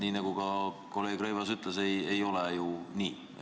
Aga nagu ka kolleeg Rõivas ütles, see ei ole ju nii.